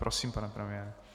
Prosím, pane premiére.